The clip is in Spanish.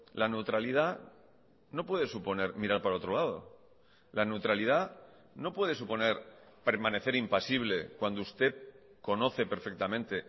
la neutralidad no puede suponer mirar para otro lado la neutralidad no puede suponer permanecer impasible cuando usted conoce perfectamente